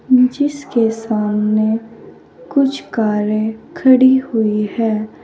के सामने कुछ कारें खड़ी हुई है।